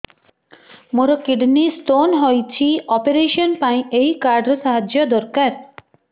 ମୋର kidney stone ହଇଛି operation ପାଇଁ ଏହି କାର୍ଡ ର ସାହାଯ୍ୟ ଦରକାର